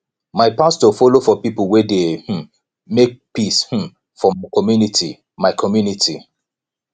my pastor folo for pipo wey dey um make peace um for my community my community